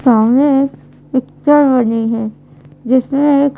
सामने एक पिक्चर बनी है जिसने एक--